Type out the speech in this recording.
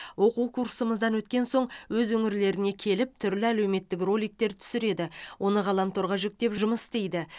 оқу курсымыздан өткен соң өз өңірлеріне келіп түрлі әлеуметтік роликтер түсіреді оны ғаламторға жүктеп жұмыс істейді